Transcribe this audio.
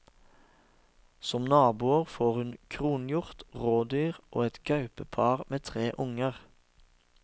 Som naboer får hun kronhjort, rådyr og et gaupepar med tre unger.